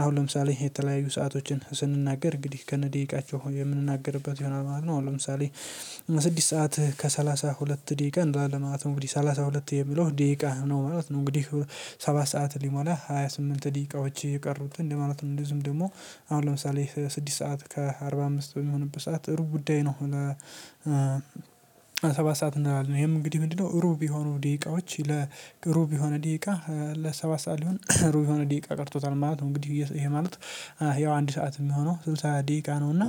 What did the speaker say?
አሁን ለምሳሌ የተለያዩ ሰአቶችን ስንናገር እንግዲህ ከነ ደቂቃቸው የምንናገርበት ይሆናል ማለት ነው። አሁን ለምሳሌ ስድስት ሰዓት ከሰላሳ ሁለት ደቂቃ እንላለን ማለት ነው። እንግዲህ ሰላሳ ሁለት የሚለው ደቂቃ ነው ማለት ነው። እንግዲህ ሰባት ሰዓት ሊሞላ ሃያ ስምንት ደቂቃዎች የቀሩትን ለማለት ነው እንደዚሁም ደግሞ አሁን ለምሳሌ ስድስት ሰዓት ከአርባ አምስት በሚሆንበት ሰዓት እሩ ጉዳይ ነው። ሰባት ሰዓት እንላለን ይሄም እንግዲህ ምንድነው ሩብ የሆኑ ደቂቃዎች ለሩብ የሆነ ደቂቃ ለሰባት ሰዓት ሊሆን ሩብ የሆነ ደቂቃ ቀርቶታል ማለት ነው። እንግዲህ ይሄ ማለት ያው አንድ ሰዓት የሚሆነው ስልሳ ደቂቃ ነው እና